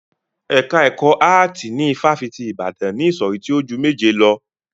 Ẹ̀ka ẹkọ áàtì ní ifáfitì Ibadan ni ìsọ̀rí tí o ju méje lọ.